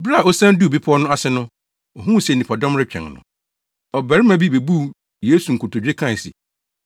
Bere a osian duu bepɔw no ase no, ohuu sɛ nnipadɔm retwɛn no. Ɔbarima bi bebuu Yesu nkotodwe kae se,